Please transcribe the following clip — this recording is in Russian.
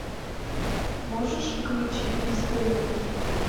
можешь включить бездельники